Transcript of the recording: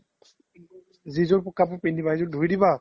যিযোৰ শুকাব পিন্ধিবা সেইযোৰ ধুই দিবা